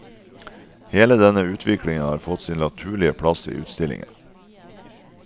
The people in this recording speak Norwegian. Hele denne utviklingen har fått sin naturlige plass i utstillingen.